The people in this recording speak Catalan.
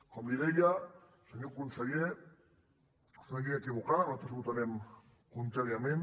com li deia senyor conseller és una llei equivocada nosaltres hi votarem contràriament